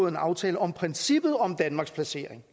en aftale om princippet om danmarks placering